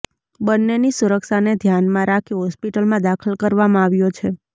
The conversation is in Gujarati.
બન્નેની સુરક્ષાને ધ્યાનમાં રાખી હોસ્પિટલમાં દાખલ કરવામાં આવ્યો છે